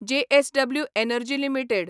JSW energy limited